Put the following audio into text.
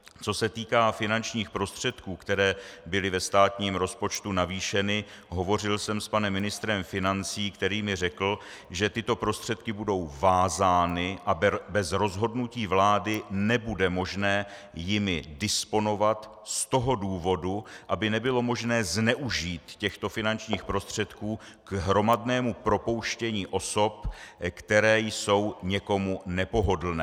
Co se týká finančních prostředků, které byly ve státním rozpočtu navýšeny, hovořil jsem s panem ministrem financí, který mi řekl, že tyto prostředky budou vázány a bez rozhodnutí vlády nebude možné jimi disponovat z toho důvodu, aby nebylo možné zneužít těchto finančních prostředků k hromadnému propouštění osob, které jsou někomu nepohodlné.